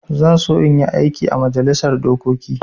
Zan so in yi aiki ã majalisar dokoki.